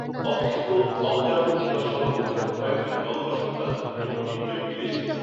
অখ্যাত অজ্ঞাত কিংবা স্বল্পখ্যাত কয়েকজন বঙ্গসন্তান এবং তিনজন বিদেশি